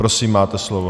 Prosím, máte slovo.